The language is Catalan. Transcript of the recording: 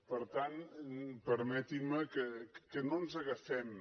per tant permetin me que no ens agafem